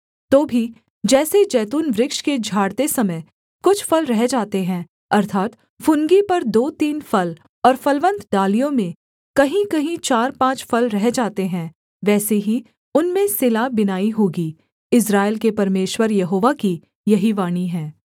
तो भी जैसे जैतून वृक्ष के झाड़ते समय कुछ फल रह जाते हैं अर्थात् फुनगी पर दोतीन फल और फलवन्त डालियों में कहींकहीं चारपाँच फल रह जाते हैं वैसे ही उनमें सिला बिनाई होगी इस्राएल के परमेश्वर यहोवा की यही वाणी है